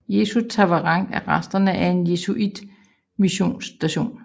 Jesus Tavarangue er resterne af en jesuitmissionsstation